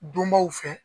Donbaw fɛ